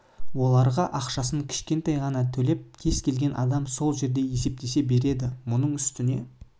оларға ақшасын кішкентай ғана төлеп кез келген адам сол жерде есептесе де береді оның үстіне